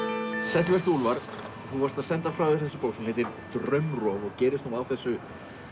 sæll vertu Úlfar þú varst að senda frá þér þessa bók sem heitir Draumrof og gerist nú á þessu